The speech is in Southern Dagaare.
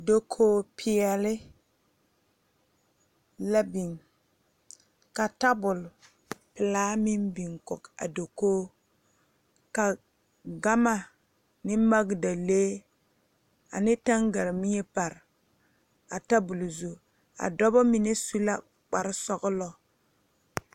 Dokoge peɛle la biŋ a tabol pelaa meŋ biŋ kɔge a dokoge ka gama ne magdalee ane taŋgaremie pare a tabole zu a dɔbɔ mine su la kpare sɔglɔ.